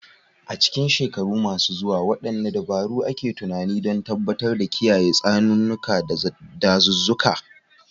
A cikin shekaru masu zuwa, wadanne dabaru ake tunani don tabbatar da kiyaye tsaunuka, da dazuzzuka